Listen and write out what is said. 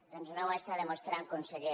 doncs no ho està demostrant conseller